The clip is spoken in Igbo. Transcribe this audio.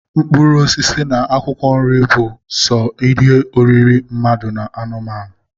Mkpụrụosisi na akwụkwọ nri bụ so n'ihe oriri mmadu na anụmanụ.